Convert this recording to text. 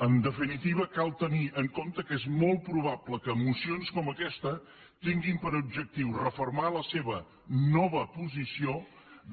en definitiva cal tenir en compte que és molt probable que mocions com aquesta tinguin per objectiu refer·mar la seva nova posició